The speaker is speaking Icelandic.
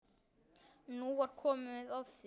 Nú var komið að því!